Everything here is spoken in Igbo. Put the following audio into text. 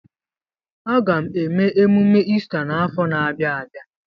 Aga eme emume Ista n'afọ na-abịa abịa.